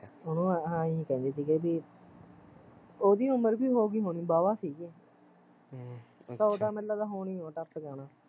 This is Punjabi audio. ਉਹ ਉਹਨੂੰ ਏਹੀ ਕਹਿੰਦੇ ਸੀਗੇ ਬਈ ਓਹਦੀ ਉਮਰ ਵੀ ਹੋਗੀ ਹੋਣੀ ਵਾਵਾਂ ਸੀ ਹਮ ਸੋ ਤਾਂ ਹੋਣੀ ਹੋਈ ਐ ਟੱਪ ਗਿਆ ਹੁਣਾ